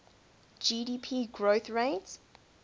gdp growth rate